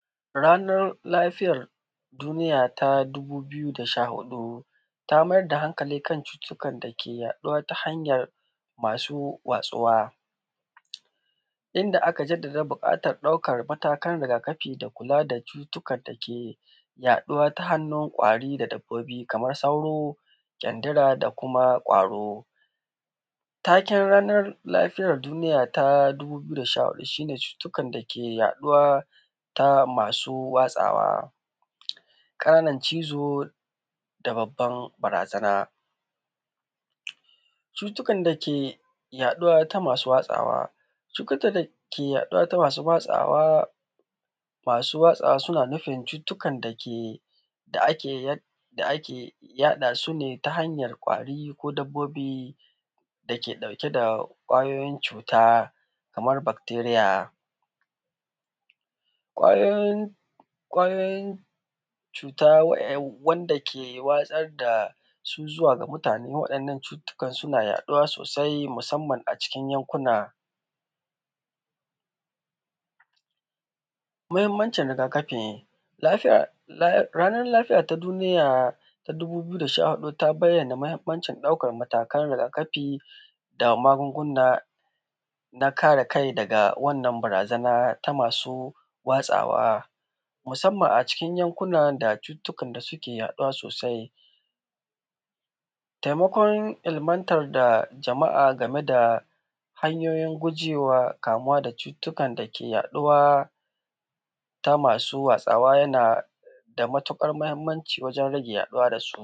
Ranan lafiyan duniya ta 2014 ta maida hankali kan cututtukan dake yaɗu ta hanyar masu watsuwa, inda aka jaddada buƙatan ɗaukan matakan rigakafi da kula da cututtukan dake yaɗuwa ta hannun kwari da dabbobi kaman sauro jandila da kuma kwaro. Taken ranan lafiyar duniya na 2014 shi ne cututtukan dake yaɗuwa ta masu watsawa, ƙananan cizo da babban barazana, cututtukan dake yaɗuwa ta masu yaɗawa suna nufin cututtukan da ake yaɗa su ne ta hanyan kwari dabbobi dake ɗauke da kwayoyin cuta kamar becteria, kwayoyin cuta wanda ke watsar da da su zuwa ga mutane wannan cututtukan suna yaɗuwa sosai musamman a cikin yankuna. Mahimmancin rigakafi ranan lafiya ta duniya ta dubu ɓiyu da sha huɗu ta bayyana mahimmancin ɗaukan matakan rigakari da magunguna na kare kai daga wannan barazana ta masu watsawa muanman a cikin yankunan da cututtukan suke yaɗuwa sosai, taimakon ilmantan da jama’a dame da hanyoyin gujewa kamuwa da cututtukan dake yaɗuwa ta masu yaɗawa yana matuƙar mahimmanci wajen rage yaɗuwansu.